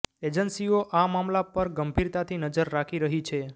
એજન્સીઓ આ મામલા પર ગંભીરતાથી નજર રાખી રહી છે